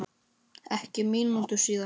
Ekki mínútu síðar